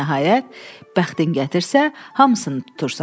və nəhayət, bəxtin gətirsə, hamısını tutursan.